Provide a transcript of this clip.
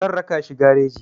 Zan raka shi gareji.